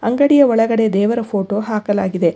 ಅಂಗಡಿಯ ಒಳಗಡೆ ದೇವರ ಫೋಟೋ ಹಾಕಲಾಗಿದೆ.